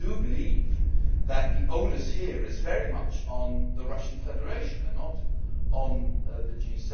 and I do believe that the onus here is very much on the Russian Federation and not on the